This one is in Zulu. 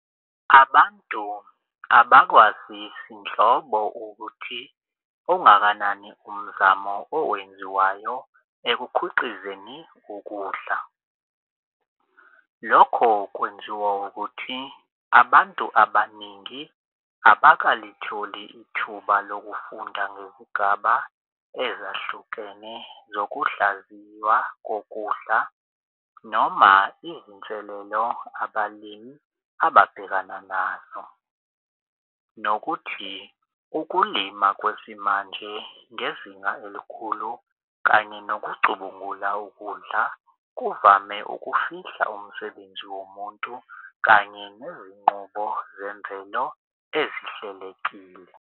Abantu abakwazisi nhlobo ukuthi ungakanani umzamo owenziwayo ekukhiqizeni ukudla. Lokho kwenziwa ukuthi abantu abaningi abakalitholi ithuba lokufunda ngezigaba ezahlukene zokuhlaziywa kokudla noma izinselelo abalimi ababhekana nazo. Nokuthi ukulima kwesimanje ngezinga elikhulu kanye nokucubungula ukudla kuvame ukufihla umsebenzi womuntu kanye nezingqubo zemvelo ezihlelekile.